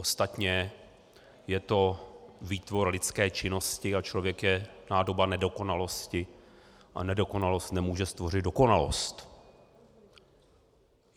Ostatně je to výtvor lidské činnosti a člověk je nádoba nedokonalosti a nedokonalost nemůže stvořit dokonalost.